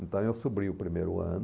Então eu subi o primeiro ano.